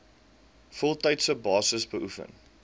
voltydse basis beoefen